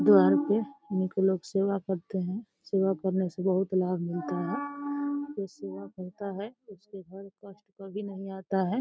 द्वार पे सेवा करते हैं। सेवा करने से बहुत लाभ मिलता है। जो सेवा करता है उसके घर कष्ट कभी नहीं आता है।